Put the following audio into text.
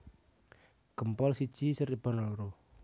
Gempol siji Cirebon loro